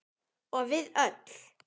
Og við öll.